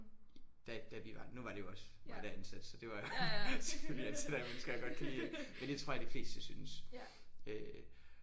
Da da vi var nu var det jo også mig der ansatte så det var selvfølgelig ansætter jeg mennesker jeg godt kan lide men det tror jeg de fleste syntes øh